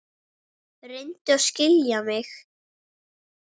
Reyndu að skilja mig.